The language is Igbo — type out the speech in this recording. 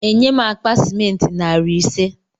Enye m akpa sịmentị narị ise